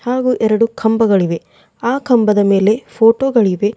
ಹಾಗೂ ಎರಡು ಕಂಬಗಳಿವೆ ಆ ಕಂಬದ ಮೇಲೆ ಫೋಟೋ ಗಳಿವೆ.